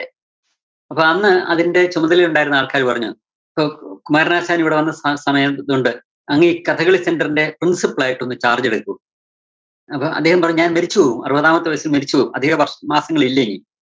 അപ്പോ അന്ന് അതിന്റെ ചുമതലയുണ്ടായിരുന്ന ആള്‍ക്കാര് പറഞ്ഞു, അപ്പോ കുമാരനാശാനിവിടെ വന്ന സാ സമയായ്തുകൊണ്ട് അങ്ങീ കഥകളി center ന്റെ principle ആയിട്ടൊന്ന് charge എടുക്കൂ. അപ്പം അദ്ദേഹം പറഞ്ഞു, ഞാന്‍ മരിച്ചുപോകും അറുപതാമത്തെ വയസ്സില്‍ മരിച്ചുപോകും അധിക വര്‍ഷ് മാസങ്ങളില്ലിനീ